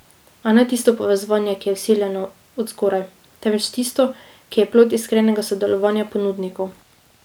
A ne tisto povezovanje, ki je vsiljeno od zgoraj, temveč tisto, ki je plod iskrenega sodelovanja ponudnikov.